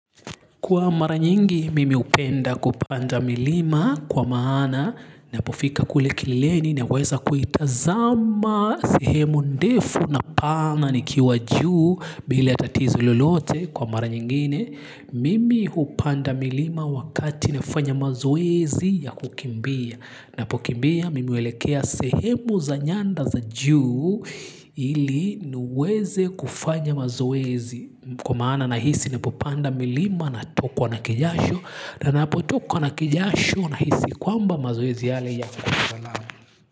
Kwa mara nyingi, mimi hupenda kupanda milima kwa maana ninapofika kule kileleni naweza kuitazama sehemu ndefu na pana nikiwa juu bila tatizo lolote kwa mara nyingine. Mimi hupanda milima wakati nafanya mazoezi ya kukimbia. Ninapokimbia mimi huelekea sehemu za nyanda za juu ili niweze kufanya mazoezi kwa maana nahisi ninapopanda milima natokwa na kijasho na ninapotokwa na kijasho nahisi kwamba mazoezi yale yako salama.